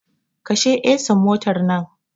Kashe ehsin motar nan!